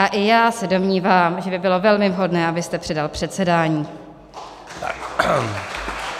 A i já se domnívám, že by bylo velmi vhodné, abyste předal předsedání.